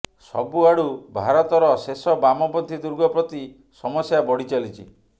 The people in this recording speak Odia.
ସବୁଆଡ଼ୁ ଭାରତର ଶେଷ ବାମପନ୍ଥୀ ଦୁର୍ଗ ପ୍ରତି ସମସ୍ୟା ବଢ଼ିଚାଲିଛି